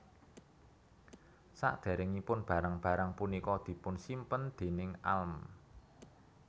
Sadéréngipun barang barang punika dipunsimpen déning Alm